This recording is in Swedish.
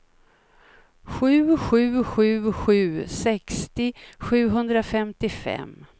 sju sju sju sju sextio sjuhundrafemtiofem